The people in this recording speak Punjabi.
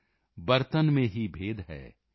ਬਰਤਨ ਮੇਂ ਹੀ ਭੇਦ ਹੈ ਪਾਨੀ ਸਬ ਮੇਂ ਏਕ